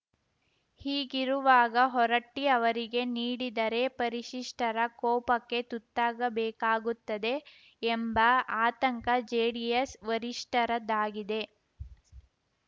ಹೀಗಿರುವಾಗ ಹೊರಟ್ಟಿಅವರಿಗೆ ನೀಡಿದರೆ ಪರಿಶಿಷ್ಟರ ಕೋಪಕ್ಕೆ ತುತ್ತಾಗಬೇಕಾಗುತ್ತದೆ ಎಂಬ ಆತಂಕ ಜೆಡಿಎಸ್‌ ವರಿಷ್ಠರದ್ದಾಗಿದೆ